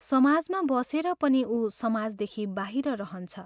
समाजमा बसेर पनि उ समाजदेखि बाहिर रहन्छ।